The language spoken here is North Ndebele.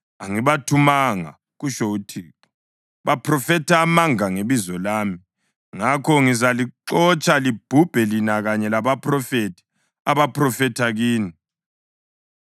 ‘Angibathumanga,’ kutsho uThixo. ‘Baphrofetha amanga ngebizo lami. Ngakho ngizalixotsha, libhubhe lina kanye labaphrofethi abaphrofetha kini.’ ”